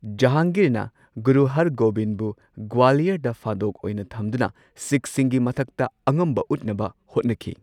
ꯖꯍꯥꯡꯒꯤꯔꯅ ꯒꯨꯔꯨ ꯍꯔꯒꯣꯚꯤꯟꯕꯨ ꯒ꯭ꯋꯥꯂꯤꯌꯔꯗ ꯐꯥꯗꯣꯛ ꯑꯣꯏꯅ ꯊꯝꯗꯨꯅ ꯁꯤꯈꯁꯤꯡꯒꯤ ꯃꯊꯛꯇ ꯑꯉꯝꯕ ꯎꯠꯅꯕ ꯍꯣꯠꯅꯈꯤ꯫